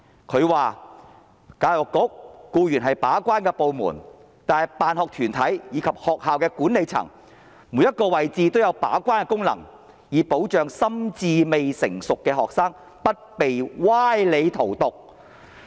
她說："教育局固然是把關的部門，但辦學團體以及學校的管理層'每一個位置都有把關的功能'，以保障心智未成熟的學生不被歪理荼毒"。